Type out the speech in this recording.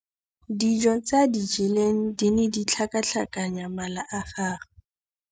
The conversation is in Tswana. Dijô tse a di jeleng di ne di tlhakatlhakanya mala a gagwe.